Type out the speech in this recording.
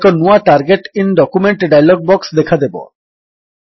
ଏକ ନୂଆ target in document dialog box ଦେଖାଦେବ